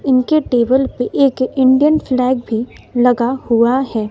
इनके टेबल पे एक इंडियन फ्लैग भी लगा हुआ है।